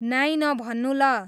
नाइ नभन्नू ल